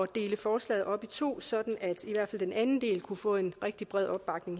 dele forslaget op i to sådan at i den anden del kunne få en rigtig bred opbakning